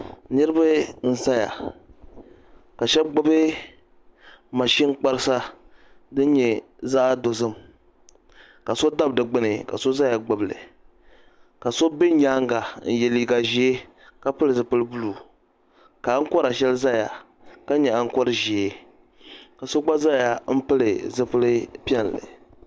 Niriba n zaya ka shɛba gbibi maʒini kparisa din nyɛ zaɣa dozim ka so dabi di gbini ka so zaya gbibi li ka so be nyaanga n ye liiga ʒee ka pili zipil'buluu ka aŋkora sheli zaya ka nyɛ aŋkori ʒee ka so gba zaya pili piɛlli.